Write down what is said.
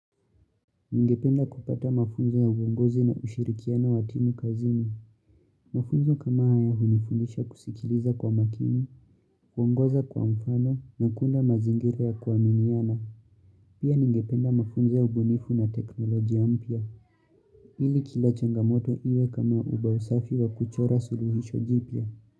Ningependa kupata mafunzo ya uongozi na ushirikiano wa timu kazini. Mafunzo kama haya hunifunisha kusikiliza kwa makini, kuongoza kwa mfano na kuunda mazingira ya kuaminiana. Pia ningependa mafunzo ya ubunifu na teknolojia mpya. Hili kila changamoto iwe kama ubao safi wa kuchora suluhisho jipya.